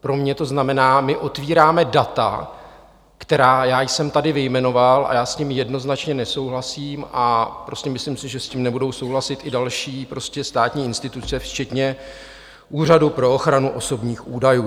Pro mě to znamená, my otvíráme data, která já jsem tady vyjmenoval, a já s ním jednoznačně nesouhlasím, a prostě myslím si, že s tím nebudou souhlasit i další státní instituce včetně Úřadu pro ochranu osobních údajů.